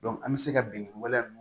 an bɛ se ka bin waleya nunnu